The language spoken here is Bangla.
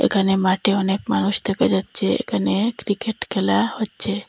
এখানে মাঠে অনেক মানুষ দেখা যাচ্ছে এখানে ক্রিকেট খেলা হচ্ছে।